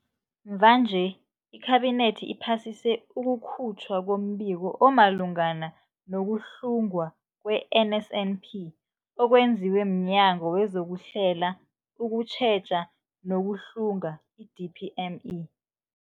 Mvanje, iKhabinethi iphasise ukukhutjhwa kombiko omalungana no-kuhlungwa kwe-NSNP okwenziwe mNyango wezokuHlela, ukuTjheja nokuHlunga, i-DPME.